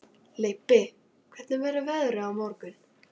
Leibbi, hvernig verður veðrið á morgun?